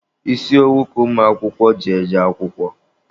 Isi owu ka ụmụakwụkwọ ji eje akwụkwọ.